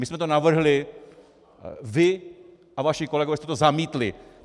My jsme to navrhli, vy a vaši kolegové jste to zamítli.